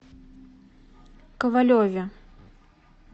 ковалеве